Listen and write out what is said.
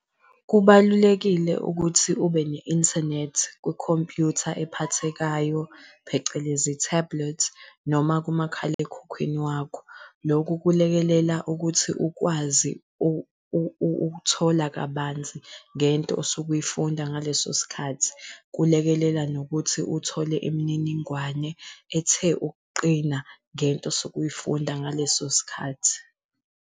Kubalulekile ukuthi ube ne-inthanethi kwi-computer ephathekayo phecelezi i-tablet, noma kumakhalekhukhwini wakho. Loku kulekelela ukuthi ukwazi ukuthola kabanzi ngento osuke uyifunda ngaleso sikhathi. Kulekelela nokuthi uthole imininingwane ethe ukuqina ngento osuke uyifunda ngaleso sikhathi.